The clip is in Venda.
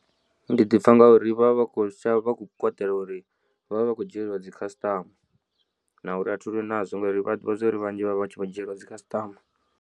Ndi ḓi pfha ngauri vha vha vha kho shavha vhakho kwatela uri vhavha vha khou dzhielwa dzi customer na uri a thilwi nazwo ngauri vha ḓivha zwori vhanzhi vhavha vhatshi vha dzhielwa dzi customer.